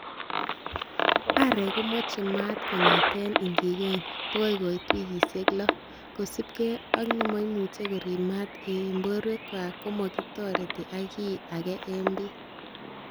Aarek komoche maat kongeten ingigeny bokoi koit wikisiek loo, kosiibge ak nemoimuche ko rib maat en borwekychwak komokitoret ak kiy age en bii.